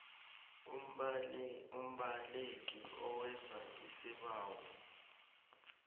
umbaleki owenza isibawo